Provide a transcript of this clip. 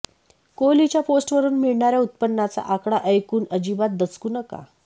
कोहलीच्या पोस्टवरून मिळणाऱ्या उत्पन्नाचा आकडा ऐकून अजिबात दचकू नका